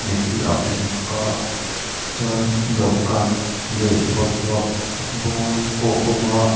te hi a awm bawk a chuan dawhkan leh bawlhhlawh bawm pawh a awm a.